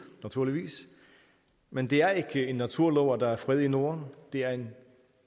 naturligvis men det er ikke en naturlov at der er fred i norden det er en